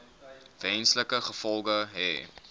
wesenlike gevolge hê